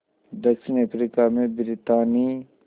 दक्षिण अफ्रीका में ब्रितानी